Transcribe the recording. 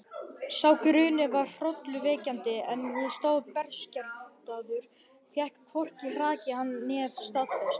Sá grunur var hrollvekjandi, en ég stóð berskjaldaður, fékk hvorki hrakið hann né staðfest.